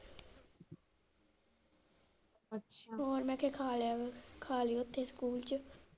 ਅੱਛਾ, ਹੋਰ ਮੈਂ ਕਿਹਾ ਖਾ ਲਿਆ ਖਾ ਲਿਓ ਓਥੇ school ਚ।